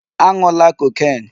A ṅụla cocaine!